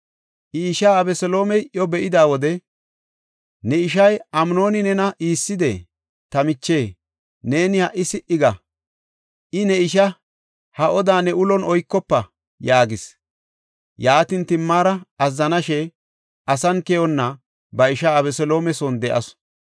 I ishaa Abeseloomey iyo be7ida wode, “Ne ishay Amnooni nena iissidee? Ta miche, neeni ha77i si77i ga. I ne ishaa; ha odaa ne ulon oykofa” yaagis. Yaatin, Timaara azzanashe, asan keyonna ba ishaa Abeseloome son de7asu.